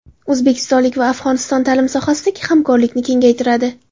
O‘zbekiston va Afg‘oniston ta’lim sohasidagi hamkorlikni kengaytiradi.